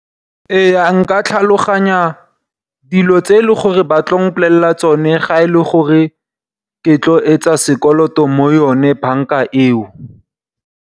Ee nka tlhaloganya dilo tse e leng gore ba tla mpolelela tsone ga e le gore ke tlo etsa sekoloto mo yone banka eo.